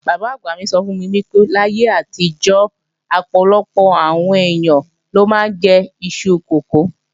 Bàbá àgbà mi sọ fún mi pé láyé àtijọ́, ọ̀pọ̀lọpọ̀ àwọn ènìyàn ló máa ń jẹ iṣu kókò